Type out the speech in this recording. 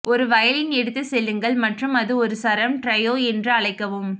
ஒரு வயலின் எடுத்துச் செல்லுங்கள் மற்றும் அது ஒரு சரம் ட்ரையோ என்று அழைக்கவும்